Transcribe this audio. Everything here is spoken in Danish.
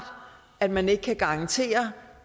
at man ikke kan garantere